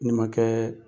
N'i ma kɛ